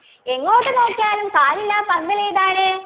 എങ്ങോട്ടു നോക്കിയാലും കാലില്ലാ പന്തൽ ഏതാണ്